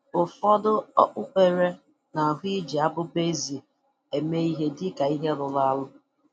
Ụfọdụ okpukpere na-ahụ iji abụba ezi eme ihe dịka ihe rụrụ arụ